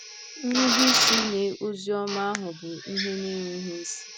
Nrubeisi nye ozi ọma ahụ bụ ihe na-enweghị isi.